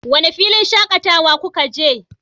wane filin shakatawa kuka je?